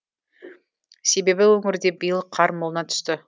себебі өңірде биыл қар молынан түсті